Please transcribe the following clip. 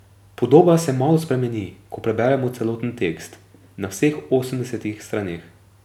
Podoba se malo spremeni, ko preberemo celoten tekst, na vseh osemdesetih straneh.